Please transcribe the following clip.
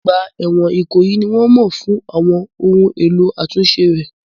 Ọgbà ẹ̀wọ̀n Ikoyi ni wọ́n mọ̀ fún àwọn ohun èlò àtúnṣe rẹ̀.